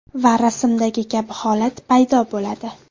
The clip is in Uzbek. Va rasmdagi kabi holat paydo bo‘ladi.